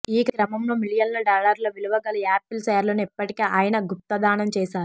ఈ క్రమంలో మిలియన్ల డాలర్ల విలువగల యాపిల్ షేర్లను ఇప్పటికే ఆయన గుప్తదానం చేశారు